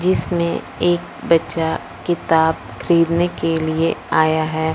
जिसमें एक बच्चा किताब खरीदने के लिए आया है।